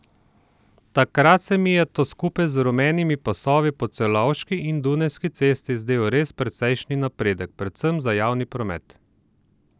Takrat se mi je to skupaj z rumenimi pasovi po Celovški in Dunajski cesti zdel res precejšen napredek, predvsem za javni promet.